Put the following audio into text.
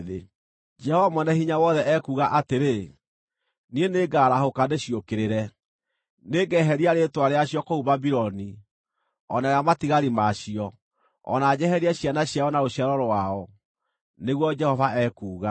Jehova Mwene-Hinya-Wothe ekuuga atĩrĩ, “Niĩ nĩngarahũka ndĩciũkĩrĩre, nĩngeheria rĩĩtwa rĩacio kũu Babuloni, o na rĩa matigari ma cio, o na njeherie ciana ciao na rũciaro rwao,” nĩguo Jehova ekuuga.